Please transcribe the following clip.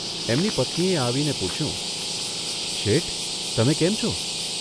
એની પત્નીએ આવીને પૂછ્યું, ' શેઠ, તમે કેમ છો?